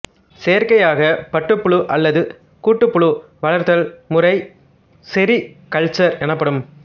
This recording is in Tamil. செயற்கையாக பட்டுப்புழு அல்லது கூட்டுப்புழு வளர்த்தல் முறை செரி கல்ச்சர் எனப்படும்